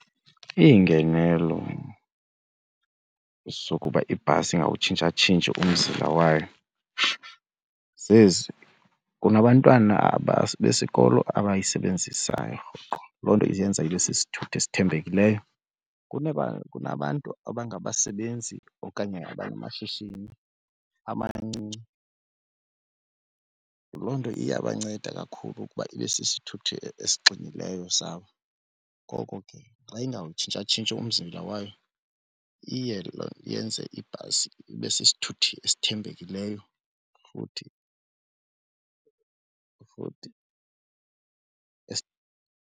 Iingenelo zokuba ibhasi ingawutshintshatshintshi umzila wayo zezi, kunabantwana besikolo abayisebenzisayo rhoqo loo nto isenza into ibe sisithuthi esithembekileyo. Kunabantu abangabasebenzi okanye abanamashishini amancinci loo nto iyabanceda kakhulu ukuba ibe sisithuthi esigxinileyo sabo. Ngoko ke xa ingawutshintshatshintshi umzila wayo iye yenze ibhasi ibe sithuthi esithembekileyo futhi